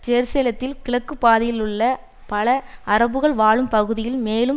ஜெருசலேத்தில் கிழக்கு பாதியிலுள்ள பல அரபுகள் வாழும் பகுதிகள் மேலும்